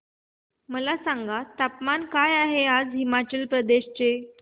मला सांगा तापमान काय आहे आज हिमाचल प्रदेश चे